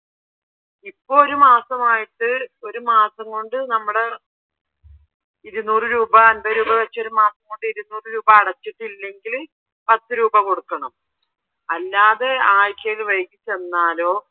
ഇപ്പോൾ ഒരു മാസം ആയിട്ട് ഒരു മാസം കൊണ്ട് നമ്മടെ ഇരുന്നൂറ് രൂപാ അൻപത് രൂപാ വെച്ച് ഒരു മാസം കൊണ്ട് ഇരുന്നൂറ് രൂപ അടച്ചിട്ടില്ലെങ്കിൽ പത്ത് രൂപ കൊടുക്കണം അല്ലാതെ ആഴ്ചയിൽ വൈകി ചെന്നാലോ